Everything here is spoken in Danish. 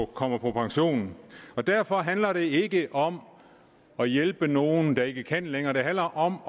kommer på pension derfor handler det ikke om at hjælpe nogle der ikke kan længere det handler om